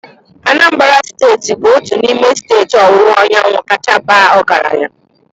Anambra steeti bụ otu n'ime steeti ọwụwa anyanwụ kacha baa ọgaranya.